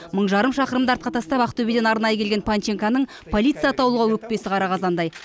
мың жарым шақырымды артқа тастап ақтөбеден арнайы келген панченконың полиция атаулыға өкпесі қара қазандай